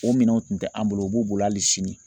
O minɛnw tun tɛ an bolo u b'u bolo hali sini